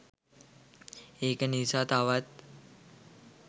ඒක නිසා තවත්